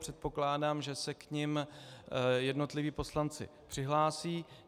Předpokládám, že se k nim jednotliví poslanci přihlásí.